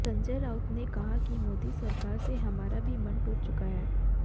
संजय राउत ने कहा कि मोदी सरकार से हमारा भी मन टूट चुका है